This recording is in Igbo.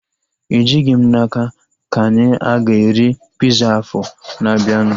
Ejighị m n'aka ka anyi a ga-eri piza afọ na-abianu